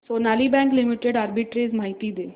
Sonali bank limited arbitrage माहिती दे